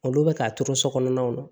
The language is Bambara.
Olu bɛ ka turu so kɔnɔnaw na